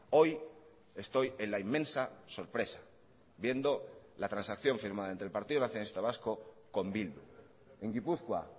hoy estoy en la inmensa sorpresa viendo la transacción firmada entre el partido nacionalista vasco con bildu en gipuzkoa